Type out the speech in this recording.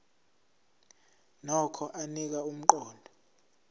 nokho anika umqondo